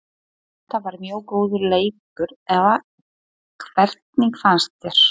Þetta var mjög góður leikur eða hvernig fannst þér?